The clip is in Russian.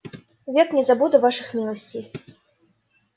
век не забуду ваших милостей